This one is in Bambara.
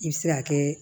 I bɛ se ka kɛ